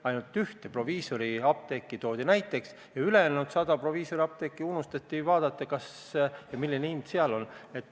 Ainult üks proviisoriapteek toodi näiteks, ülejäänud 100 proviisoriapteegi puhul aga unustati uurida, milline hind seal on.